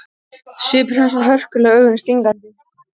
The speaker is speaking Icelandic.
Svipur hans var hörkulegur og augun stingandi.